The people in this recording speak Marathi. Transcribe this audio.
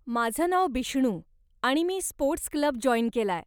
माझं नाव बिष्णू आणि मी स्पोर्ट्स क्लब जॉईन केलाय.